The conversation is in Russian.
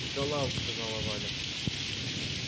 и талант сказала валя